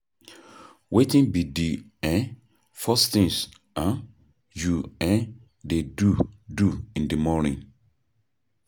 Wetin be di um first thing um you um dey do do in di morning?